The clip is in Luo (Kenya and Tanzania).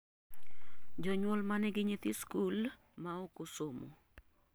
jonyuol manigi nyithi sikul maokosomo